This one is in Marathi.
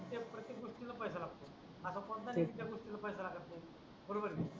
प्रतेक गोष्टीला पैसा लागतो तेच णा असा कोणता नाही ज्या गोष्टीला पैसा लागत नाही बरोबर की नाही